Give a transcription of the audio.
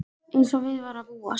Eins og við var að búast.